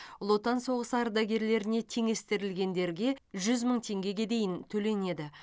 ұлы отан соғысы ардагерлеріне теңестірілгендерге жүз мың теңгеге дейін төленеді